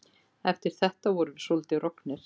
Og eftir þetta vorum við svolítið roggnir.